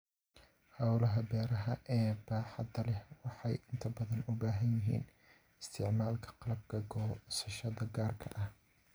Hawlaha beeraha ee baaxadda leh waxay inta badan u baahan yihiin isticmaalka qalabka goosashada gaarka ah.